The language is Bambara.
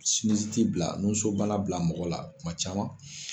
bila nusnobana bila mɔgɔw la tuma caman